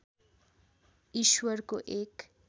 ईश्वरको एक